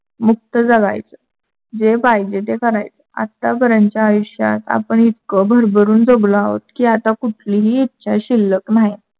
मुक्त जगायच. जे पाहिजे ते करायच. आता पर्यन्त आयुष्यात आपण इतक भरभरून जगलो आहोत की आता कुठलीही इच्छा शिल्लक नाही.